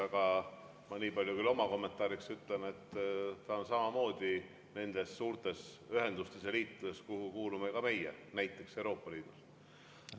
Aga ma nii palju küll oma kommentaariks ütlen, et on samamoodi nendes suurtes ühendustes ja liitudes, kuhu kuulume meie, näiteks Euroopa Liidus.